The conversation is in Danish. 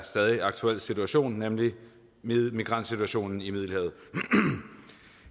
stadig aktuel situation nemlig migrantsituationen i middelhavet